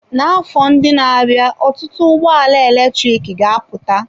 N'afọ ndị na-abịa, ọtụtụ ụgbọ ala eletrik ga-apụta.